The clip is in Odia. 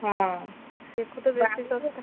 ହଁ, ଏକୁ ତ ବେଶୀ ବାଡିରେ ଶସ୍ତା।